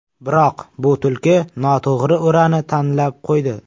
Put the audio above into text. Biroq bu tulki noto‘g‘ri o‘rani tanlab qo‘ydi.